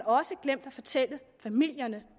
også glemt at fortælle familierne